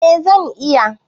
Eh zan iya